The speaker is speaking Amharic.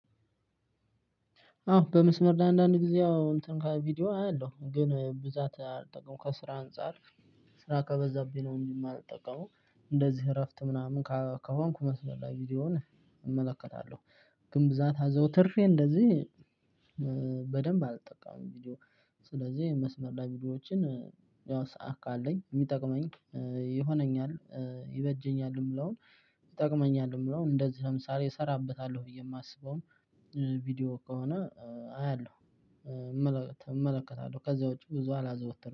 አዎ በመስመር ለአንዳንድ ጊዜ እንትን ከቪዲዮ አያለሁ ግን ብዛት አልጠቀምም ከስራ አንፃር ስራ ከበዛብኝ ነው እንጂ የማልጠቀመው። እንደዚህ እረፍት ምናምን ከሆንኩ መስለላችሁ ቪዲዮውን እመለከታለሁ ግን ብዛት አዘውትሬ እንደዚህ በደንብ አልጠቃም ቪዲዮ። ስለዚህ መስመር ላይ ቪዲዮዎችን ያው ሰዓት ካለኝ የሚጠቅመኝ ይሆነኛል ይበጀኛል። የምለውን፣ ይጠቅመኛል የምለውን እንደዚህ ለምሳሌ እሰራበታለሁ ብዬ የማስበውም ቪዲዮ ከሆነ አያለሁ። እመለከታለሁ ከዛ ውጪ ብዙ አላዘወተንም